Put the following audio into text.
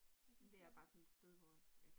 Jeg vidste slet ikke